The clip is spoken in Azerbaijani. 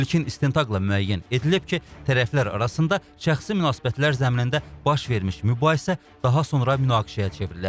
İlkin istintaqla müəyyən edilib ki, tərəflər arasında şəxsi münasibətlər zəminində baş vermiş mübahisə daha sonra münaqişəyə çevrilib.